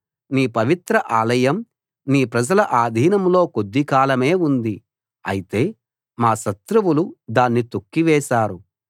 నీ పవిత్ర ఆలయం నీ ప్రజల ఆధీనంలో కొద్దికాలమే ఉంది అయితే మా శత్రువులు దాన్ని తొక్కివేశారు